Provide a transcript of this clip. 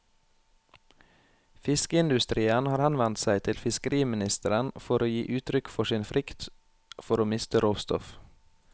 Fiskeindustrien har henvendt seg til fiskeriministeren for å gi uttrykk for sin frykt for å miste råstoff.